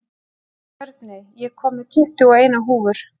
Björney, ég kom með tuttugu og eina húfur!